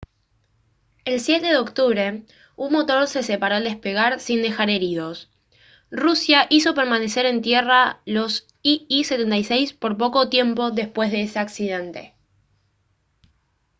el 7 de octubre un motor se separó al despegar sin dejar heridos rusia hizo permanecer en tierra los il-76 por poco tiempo después de ese accidente